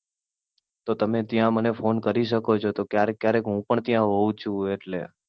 તો ત્યાં મને ફોન કરી શકો છો, તો ક્યારેક ક્યારેક હું પણ ત્યાં હોઉં જ છુ એટલે.